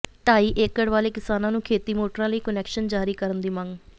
ਢਾਈ ਏਕੜ ਵਾਲੇ ਕਿਸਾਨਾਂ ਨੂੰ ਖੇਤੀ ਮੋਟਰਾਂ ਲਈ ਕੁਨੈਕਸ਼ਨ ਜਾਰੀ ਕਰਨ ਦੀ ਮੰਗ